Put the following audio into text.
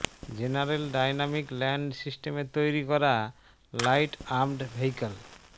general dynamic land সিস্টেমের তৈরি করা লাইট আর্মর্ড ভেহিক্যাল